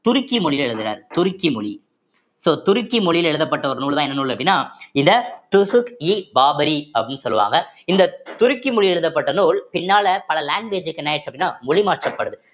துருக்கி மொழியில எழுதுறாரு துருக்கி மொழி so துருக்கி மொழியில எழுதப்பட்ட ஒரு நூல்தான் என்ன நூல் அப்படின்னா இத துசுக்-இ-பாபுரி அப்படின்னு சொல்லுவாங்க இந்த துருக்கி மொழி எழுதப்பட்ட நூல் பின்னால பல language க்கு என்ன ஆயிடுச்சு அப்படின்னா மொழி மாற்றப்படுது